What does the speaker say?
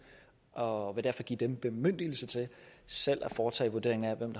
og vil derfor give dem bemyndigelse til selv at foretage vurdering af hvem